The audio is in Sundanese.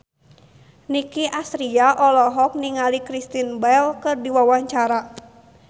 Nicky Astria olohok ningali Kristen Bell keur diwawancara